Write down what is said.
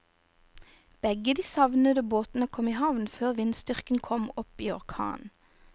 Begge de savnede båtene kom i havn før vindstyrken kom opp i orkan.